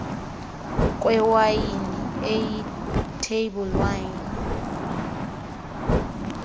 kwewayini eyitable wine